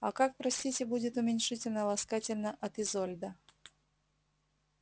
а как простите будет уменьшительно-ласкательно от изольда